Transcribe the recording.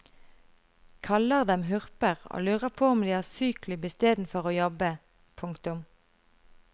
Kaller dem hurper og lurer på om de har syklubb i stedet for å jobbe. punktum